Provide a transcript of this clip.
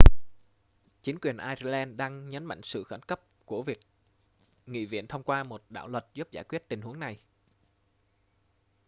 chính quyền ireland đang nhấn mạnh sự khẩn cấp của việc nghị viện thông qua một đạo luật giúp giải quyết tình huống này